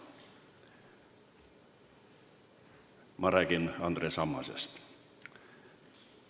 Ma räägin Andres Ammasest.